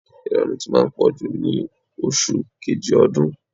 Ìranù ti máa ń pọ̀jù ní oṣù kejì ọdún.